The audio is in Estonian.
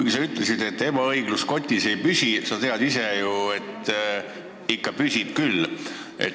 Sa küll ütlesid, et ebaõiglus kotis ei püsi, aga sa tead ju hästi, et ikka püsib küll.